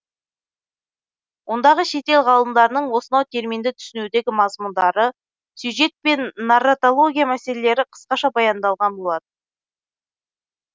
ондағы шетел ғалымдарының осынау терминді түсінудегі мазмұндары сюжет пен нарратология мәселелері қысқаша баяндалған болатын